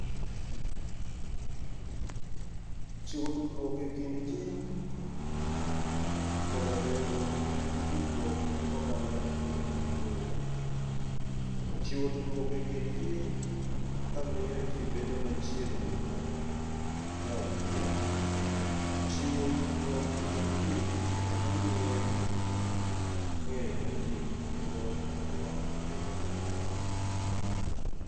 Chiwo tudruok e kind ji koda bedo gi tudruok gi oganda e gwenge ma boyo. Chiwo tudruok e kind ji kamiyo ji bedo machiegni ng'ato gi ng'a nyawadgi. Chiwo tudruok e kind ji, kendo miyo ng'eyo ma ji nigo e alwora bedo maber.